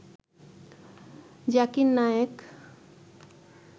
Zakir Naik